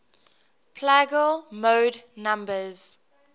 plagal mode numbers